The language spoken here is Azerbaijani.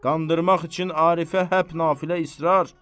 Qandırmaq üçün Arifə həp nafilə israr.